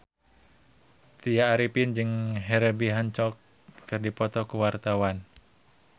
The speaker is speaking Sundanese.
Tya Arifin jeung Herbie Hancock keur dipoto ku wartawan